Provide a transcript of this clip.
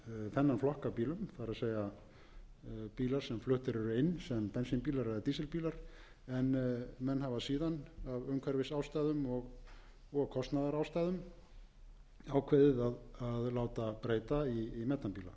þennan flokk af bílum það er bíla sem fluttir eru inn sem bensínbílar eða dísilbílar en menn hafa síðan af umhverfisástæðum og kostnaðarástæðum ákveðið að láta breyta í metanbíla það þarf ekki að hafa um það mörg orð að bæði